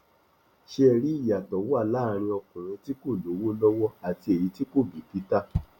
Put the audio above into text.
ṣé ẹ rí i ìyàtọ wa láàrin ọkùnrin tí kò lówó lọwọ àti èyí tí kò bìkítà